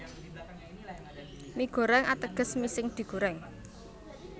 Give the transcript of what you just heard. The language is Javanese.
Mie Goreng ateges mi sing digorèng